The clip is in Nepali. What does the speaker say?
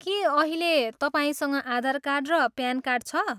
के अहिले तपाईँसँग आधार कार्ड र प्यान कार्ड छ?